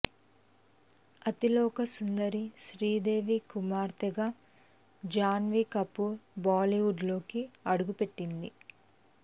అతిలోక సుందరి శ్రీదేవి కుమార్తె గా జాన్వీ కపూర్ బాలీవుడ్ లోకి అడుగుపెట్టింది